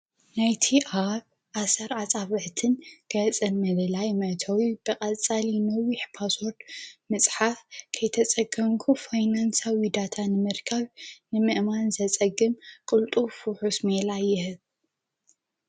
ናይቲ ኣብ ኣሠር ኣፃብዕትን ገፅን ምልላይ መእተዊ ብቐጻሊ ነዊሐ ፓስወርድ መጽሓፍ ከይተጸገምኩ ፋይናንሳዊ ዳታ ንምርካብ ንምእማን ዘጸግም ቕልጡፍ ውሑስ ሜላ ይህብ፡፡